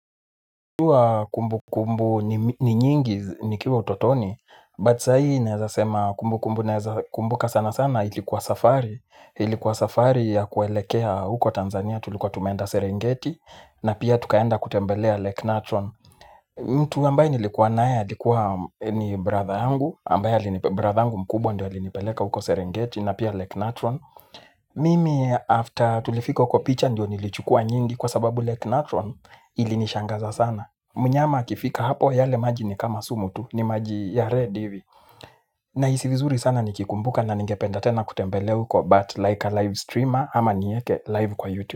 Hua kumbukumbu ni nyingi nikiwa utotoni, but saa hii naeza sema kumbukumbu naeza kumbuka sana sana ilikuwa safari. Ilikuwa safari ya kuelekea huko Tanzania tulikuwa tumenda Serengeti na pia tukaenda kutembelea Lake Natron. Mtu ambaye nilikuwa naye alikuwa ni brother yangu, ambaye brother yangu mkubwa ndo alinipeleka huko Serengeti na pia Lake Natron. Mimi after tulifika huko picha ndo nilichukua nyingi kwa sababu Lake Natron ilinishangaza sana. Mnyama akifika hapo yale maji ni kama sumu tu ni maji ya red hivi nahisi vizuri sana nikikumbuka na ningependa tena kutembelea uko but like a live streamer ama nieke live kwa youtube.